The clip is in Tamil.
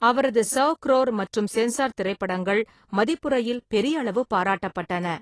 அவரது சவ் குரோர் மற்றும் சென்சார் திரைப்படங்கள் மதிப்புரையில் பெரியளவு பாராட்டப்பட்டன.